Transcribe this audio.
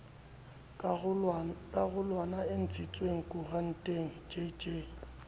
karolwana e ntshitsweng koranteng jj